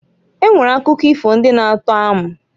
E nwere akụkọ ifo ndị na -atọ amụ.